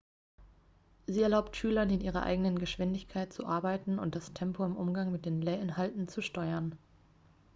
sie erlaubt schülern in ihrer eigenen geschwindigkeit zu arbeiten und das tempo im umgang mit den lehrinhalten zu steuern